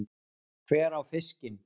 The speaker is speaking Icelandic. Hver á fiskinn?